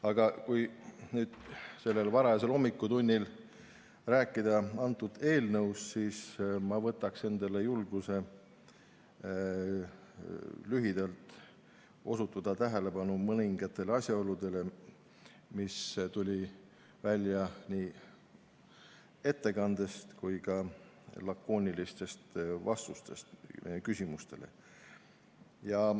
Aga kui sel varajasel hommikutunnil sellest eelnõust rääkida, siis võtan endale julguse lühidalt osutada tähelepanu mõningatele asjaoludele, mis tulid välja nii ettekandest kui ka küsimustele antud lakoonilistest vastustest.